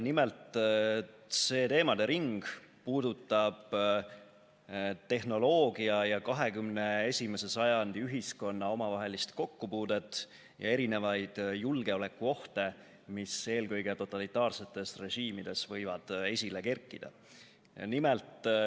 Nimelt, see teemade ring puudutab tehnoloogia ja 21. sajandi ühiskonna omavahelist kokkupuudet ning julgeolekuohte, mis eelkõige totalitaarsetes režiimides võivad esile kerkida.